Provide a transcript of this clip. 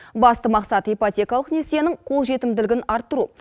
басты мақсат ипотекалық несиенің қолжетімділігін арттыру